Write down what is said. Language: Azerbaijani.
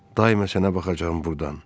Daima sənə baxacağam burdan.